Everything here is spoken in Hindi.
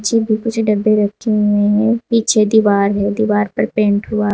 पीछे भी कुछ डब्बे रखे हुए हैं। पीछे दीवार है। दीवार पर पेंट हुआ --